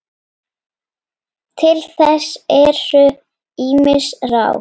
Til þess eru ýmis ráð.